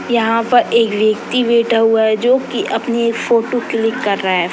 यहां पर एक व्यक्ति बैठा हुआ है जो कि अपनी एक फोटो क्लिक कर रहा है।